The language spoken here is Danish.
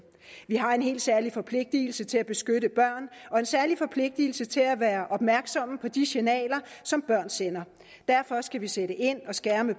vi har en helt særlig forpligtelse til at beskytte børn og en særlig forpligtelse til at være opmærksomme på de signaler som børn sender derfor skal vi sætte ind og skærme